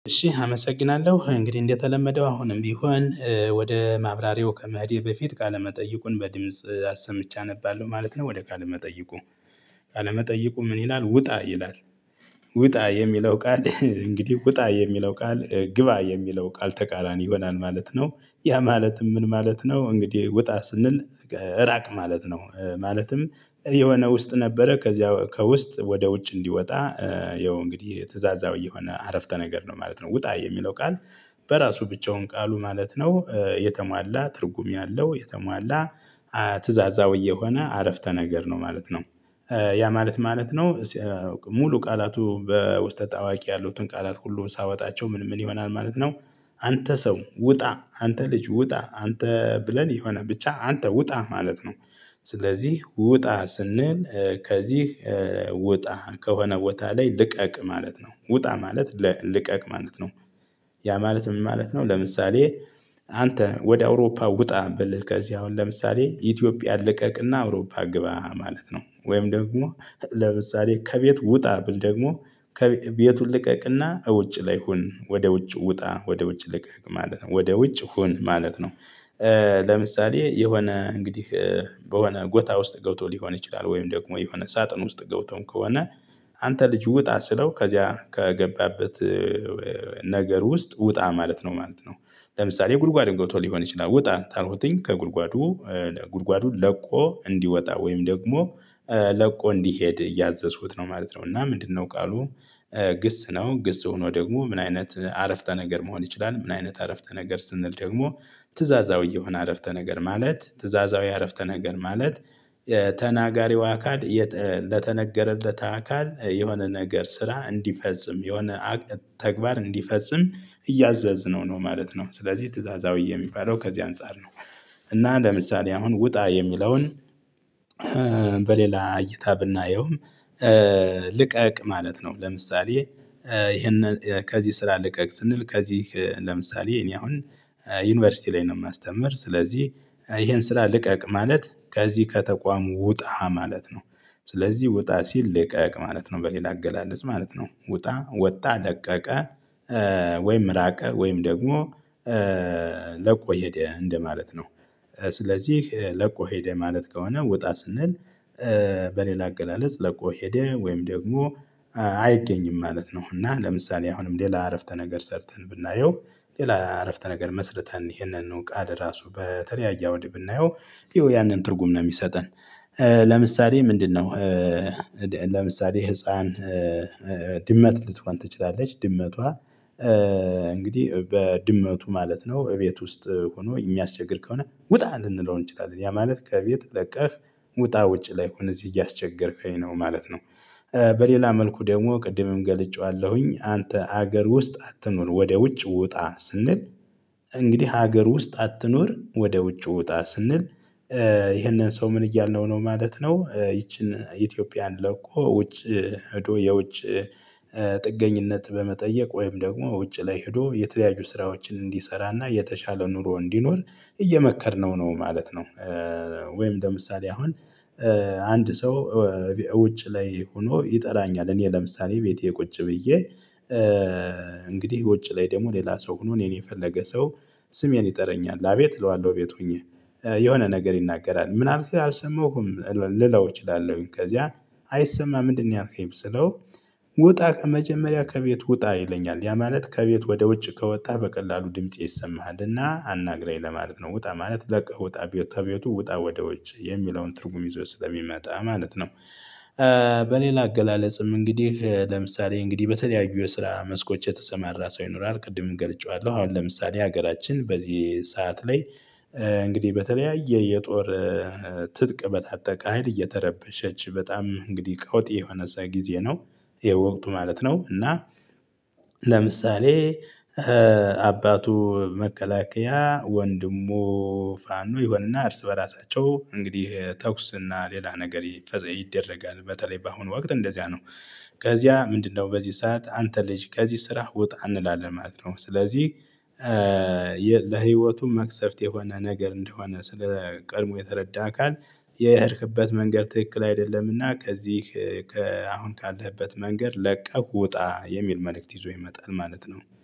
እሺ አመሰግናለሁ። እንግዲህ እንደተለመደው አሁንም ቢሆን ወደ ማብራሪያው ከመሄደ በፊት ቃለመጠይቁን በድምጽ አሰምቼ አነባለሁ ማለት ነው ወደ ቃል መጠይቁ። አለመጠይቁ ምን ይላል? ውጣ ይላል። ውጣ የሚለው ቃል እንግዲህ ውጣ የሚለው ቃል ግባ የሚለው ቃል ተቃራኒ ይሆናል ማለት ነው። ያ ማለትም ምን ማለት ነው? እንግዲህ ውጣ ስንል ራቅ ማለት ነው። ማለትም የሆነ ውስጥ ነበረ ከዚያ ከውስጥ ወደ ውጭ እንዲወጣ ያው እንግዲህ ትእዛዛዊ የሆነ አረፍተ ነገር ነው ማለት ነው። ውጣ የሚለው ቃል በራሱ ብቫውን ቃሉ ማለት ነው፣ የተሟላ ትርጉም ያለው፤ የተሟላ ትዕዛዛው የሆነ አረፍተ ነገር ነው ማለት ነው። ያ ማለት ምን ማለት ነው? ሙሉ ቃላቱ በውስጠ ታዋቂ ያሉትን ቃላት ሁሉን ሳወጣቸው ምን ምን ይሆናል ማለት ነው? አንተ ሰው ውጣ፣ አንተ ልጅ ውጣ፣ አንተ ብለን የሆነ ብቻ አንተ ውጣ ማለት ነው። ስለዚህ ውጣ ስንል ከዚህ ውጣ ከሆነ ቦታ ላይ ልቀቅ ማለት ነው። ውጣ ማለት ልቀቅ ማለት ነው። ያ ማለት ምን ማለት ነው? ለምሳሌ አንተ ወደ አውሮፓ ውጣ ብልህ ከዚህ አሁን ለምሳሌ ኢትዮጵያ ልቀቅና አውሮፓ ግባ ማለት ነው። ወይም ደግሞ ለምሳሌ ከቤት ውጣ ደግሞ ከቤቱን ልቀቅና ውጭ ላይ ሁን፤ ወደ ውጭ ውጣ፤ ወደ ውጭ ልቀቅ ማለት ነው ወደ ውጭ ሁን ማለት ነው። ለምሳሌ የሆነ እንግዲህ በሆነ ቦታ ውስጥ ገብቶ ሊሆን ይችላል፤ ወይም ደግሞ የሆነ ሳጥን ውስጥ ገብተውም ከሆነ አንተ ልጅ ውጣ ስለው ከዚያ ከገባበት ነገር ውስጥ ውጣ ማለት ነው ማለት ነው። ለምሳሌ ጉድጓድ ልንገርተው ሊሆን ይችላል ውጣ ካልኩትኝ ከጉድጓዱ፣ ጉድጓዱን ለቆ እንዲወጣ ወይም ደግሞ ለቆ እንዲሄድ እያዘዙት ነው ማለት ነው። እና ምንድነው ቃሉ? ግስ ነው፤ ግስ ሆኖ ደግሞ ምን አይነት አረፍተ ነገር መሆን ይችላል? ምን አይነት አረፍተ ነገር ስንል ደግሞ ትእዛዛዊ የሆነ አረፍተ ነገር ማለት፣ ትእዛዛዊ አረፍተ ነገር ማለት ተናጋሪው አካል ለተነገረለት አካል የሆነ ነገር ስራ እንዲፈጽም የሆነ ተግባር እንዲፈጽም እያዘዘ ነው ነው ማለት ነው። ስለዚህ ትእዛዛዊ የሚባለው ከዚህ አንፃር ነው። እና ለምሳሌ አሁን ውጣ የሚለውን በሌላ እይታ ብናየውም ልቀቅ ማለት ነው። ለምሳሌ ይሄንን ከዚህ ስራ ልቀቅ ስንል ከዚህ ለምሳሌ እኔ አሁን ዩኒቨርሲቲ ላይ ነው የማስተምር ስለዚህ ይሄን ስራ ልቀቅ ማለት ከዚህ ከተቋም ውጣ ማለት ነው። ስለዚህ ውጣ ሲል ልቀቅ ማለት ነው በሌላ አገላለጽ ማለት ነው። ውጣ፣ ወጣ፤ ለቀቀ፣ ወይም ራቀ ወይም ደግሞ ለቆ ሄደ እንደማለት ነው። ስለዚህ ለቆ ሄደ ማለት ከሆነ ውጣ ስንል በሌላ አገላለጽ ለቆ ሄደ ወይም ደግሞ አይገኝም ማለት ነው እና ለምሳሌ አሁንም ሌላ አረፍተ ነገር ሰርተን ብናየው ሌላ አረፍተ ነገር መስርተን ይሄንን እንውቃድ ራሱ በተለያየ አውድ ብናየው ያንን ትርጉም ነው የሚሰጠን። ለምሳሌ ምንድነው? ለምሳሌ ህፃን ድመት ልትሆን ትችላለች፣ ድመቷ እንግዲህ በድመቱ ማለት ነው እቤት ውስጥ ሆኖ የሚያስቸግር ከሆነ፣ ውጣ! ልንለው እንችላለን ያ ማለት ከቤት ለቀህ ውጣ፤ ውጪ ላይ ሁን፣ እዚህ እያስቸገርከኝ ነው ማለት ነው። በሌላ መልኩ ደግሞ ቅድምም ገልጬዋለሁኝ፣ አንተ ሀገር ውስጥ አትኖር ወደ ውጭ ውጣ ስንል እንግዲህ ሀገር ውስጥ አትኖር ወደ ውጭ ውጣ ስንል፣ ይህንን ሰው ምን እያልነው ነው ማለት ነው ይቺን ኢትዮጵያን ለቆ ውጭ ሄዶ የውጭ ጥገኝነት በመጠየቅ ወይም ደግሞ ውጭ ላይ ሄዶ የተለያዩ ስራዎችን እንዲሰራና የተሻለ ኑሮ እንዲኖር እየመከርነው ነው ማለት ነው። ወይም ለምሳሌ አሁን አንድ ሰው ውጭ ላይ ሆኖ ይጠራኛል እኔ ለምሳሌ ቤቴ ቁጭ ብዬ እንግዲህ ቁጭ ላይ ደግሞ ሌላ ሰው ሆኖ እኔን የፈለገ ሰው ስሜን ይጠረኛል። አቤት እለዋለሁ ቤት ሆኜ፤ የሆነ ነገር ይናገራል፤ ምን አልከኝ አልሰማሁም ልለው እችላለሁኝ፤ ከዚያ አይሰማ ምንድነው ያንተ ይብስለው ውጣ ከመጀመሪያ ከቤት ውጣ ይለኛል፤ ያ ማለት ከቤት ወደ ውጭ ከወጣ በቀላሉ ድምጽ ይሰማሃልና አናግራኝ ለማለት ነው። ውጣ ማለት ለቀህ ውጣ፣ ቤት ከቤቱ ውጣ ወደ ውጭ የሚለውን ትርጉም ይዞ ስለሚመጣ ማለት ነው። በሌላ አገላለጽም እንግዲህ ለምሳሌ እንግዲህ በተለያዩ የስራ መስኮች የተሰማራ ሰው ይኖራል፤ ቅድምም እገልጨዋለሁ። አሁን ለምሳሌ ሀገራችን በዚህ ሰዓት ላይ እንግዲህ በተለያየ የጦር ትጥቅ በታጠቅ ሀይል እየተረበሸች በጣም እንግዲህ ቀውጢ የሆነ ጊዜ ነው የወቅቱ ማለት ነው። እና ለምሳሌ አባቱ መከላከያ፣ ወንድሙ ፋኖ ይሆንና እርስ በራሳቸው እንግዲህ ተኩስ እና ሌላ ነገር ይደረጋል በተለይ በአሁኑ ወቅት እንደዚያ ነው። ከዚያ ምንድነው በዚህ ሰዓት አንተ ልጅ ከዚህ ስራ ውጣ እንላለን ማለት ነው። ስለዚህ ለህይወቱ መቅሰፍት የሆነ ነገር እንደሆነ ስለ ቀድሞ የተረዳ አካል የሄድክበት መንገድ ትክክል አይደለምና ከዚህ ከአሁን ካለህበት መንገድ ለቀህ ውጣ የሚል መልእክት ይዞ ይመጣል ማለት ነው።